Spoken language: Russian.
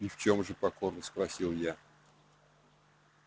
и в чем же покорно спросил я